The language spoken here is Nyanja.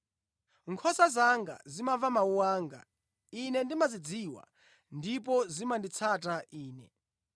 Nkhosa zanga zimamva mawu anga, Ine ndimazidziwa, ndipo zimanditsata Ine.